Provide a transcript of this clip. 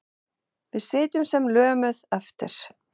Við sitjum sem lömuð eftir.